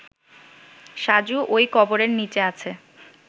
সাজু ওই কবরের নিচে আছে